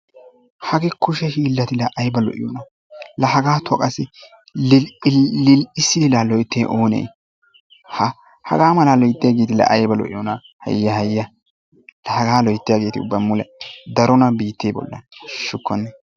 Hagee kushe hiilati laa ayba lo'iyoonaa? laa hagaatuwa qassi lil'i lil'issidi laa loyttiyay oone? ha hagaa malaa loyttiyageeti laa ayba lo'iyonaa laa haya haya laa hagaa loyttiyageeti uba mule darona biittee bollan hashshukkone.